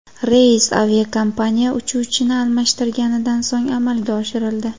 Reys aviakompaniya uchuvchini almashtirganidan so‘ng amalga oshirildi.